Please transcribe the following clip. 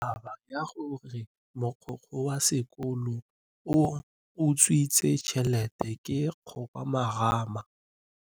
Taba ya gore mogokgo wa sekolo o utswitse tšhelete ke khupamarama.